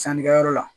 Sannikɛyɔrɔ la